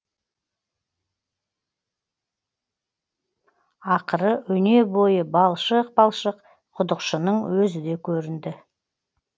ақыры өне бойы балшық балшық құдықшының өзі де көрінді